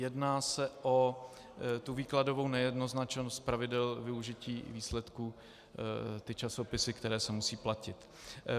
Jedná se o tu výkladovou nejednoznačnost pravidel využití výsledků, ty časopisy, které se musí platit.